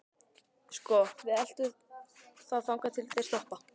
Sko. við eltum þá þangað til þeir stoppa.